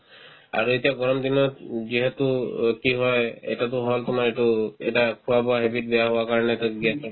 আৰু এতিয়া গৰম দিনত উম তো অতিশয় এটাতো হ'ল তোমাৰ এইটো এটা খোৱা-বোৱাৰ habit বেয়া হোৱা কাৰণেতো gas হ'ব